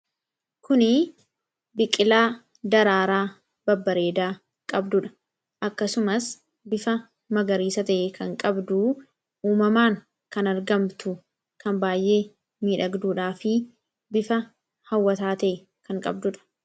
Kuni biqilaa daraaraa babbareedaa qabduudha. Akkasumas bifa magariisa ta'e kan qabdu uumamaan kan argamtu kan baay'ee miidhagduudhaa fi bifa hawwataa ta'e kan qabduudha.